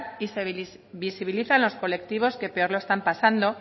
y se visibilizan los colectivos que peor lo están pasando